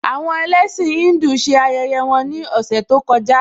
Àwọn ẹlẹ́sìn Híńdù ṣe ayẹyẹ wọn ní ọ̀sẹ̀ tó kọjá